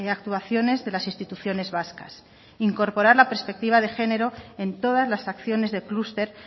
actuaciones de las instituciones vascas incorporar la perspectiva de género en todas las acciones de clúster